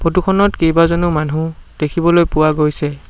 Photo খনত কেইবাজনো মানুহ দেখিবলৈ পোৱা গৈছে।